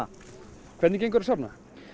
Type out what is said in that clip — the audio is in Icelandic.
hvernig gengur að safna